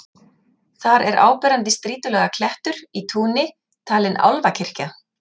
Þar er áberandi strýtulaga klettur í túni, talinn álfakirkja.